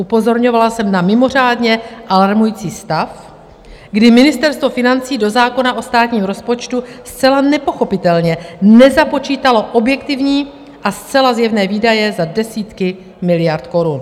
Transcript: Upozorňovala jsem na mimořádně alarmující stav, kdy Ministerstvo financí do zákona o státním rozpočtu zcela nepochopitelně nezapočítalo objektivní a zcela zjevné výdaje za desítky miliard korun.